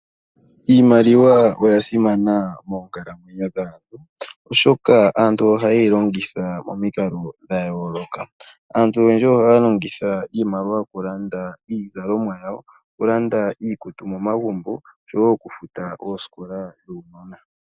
Iimaliwa oya simana moonkalamwenyo dhaantu oshoka aantu ohaye yi longitha momikalo dhayooloka. Aantu oyendji ohaya longitha iimaliwa okulanda iizalomwa yawo, okulanda iikutu momagumbo nokufuta oosikola dhuunona.